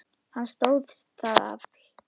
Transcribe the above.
Hann stóðst það afl.